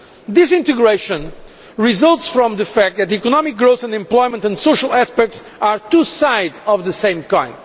This integration results from the fact that economic growth and employment and social aspects are two sides of the same coin.